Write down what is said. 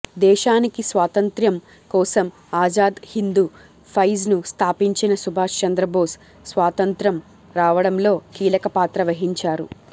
దేశానికి స్వాతంత్ర్యం కోసంఆజాద్ హిందూ ఫైజ్ ను స్థాపించిన సుభాష్ చంద్ర బోస్ స్వాతంత్ర్యం రావడంలో కీలక పాత్ర వహించారు